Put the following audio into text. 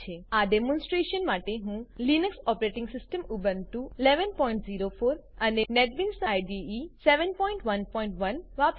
આ demonstration demonstration માટે હું Linux operating system Ubuntu Linux operating system Ubuntu વી1104 અને નેટબીન્સ આઈડીઈ વી711